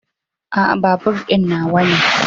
A'a, babur din nawa ne.